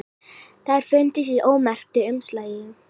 Þær fundust í ómerktu umslagi